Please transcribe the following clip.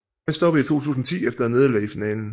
Han stoppede i 2010 efter et nederlag i finalen